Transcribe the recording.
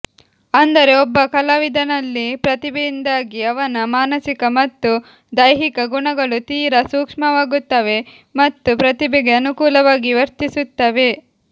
ಅಂದರೆ ಒಬ್ಬ ಕಲಾವಿದನಲ್ಲಿ ಪ್ರತಿಭೆಯಿಂದಾಗಿ ಅವನ ಮಾನಸಿಕ ಮತ್ತು ದೈಹಿಕ ಗುಣಗಳು ತೀರ ಸೂಕ್ಷ್ಮವಾಗುತ್ತವೆ ಮತ್ತು ಪ್ರತಿಭೆಗೆ ಅನುಕೂಲವಾಗಿ ವರ್ತಿಸುತ್ತವೆ